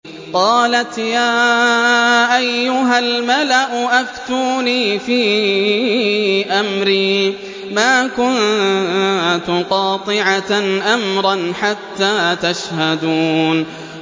قَالَتْ يَا أَيُّهَا الْمَلَأُ أَفْتُونِي فِي أَمْرِي مَا كُنتُ قَاطِعَةً أَمْرًا حَتَّىٰ تَشْهَدُونِ